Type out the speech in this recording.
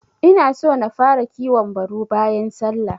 Inaso na fara kiwon baru bayan sallah.